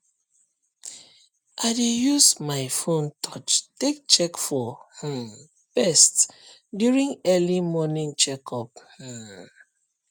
i dey use my phone touch take check for um pest during early morning check up um